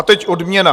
A teď odměna.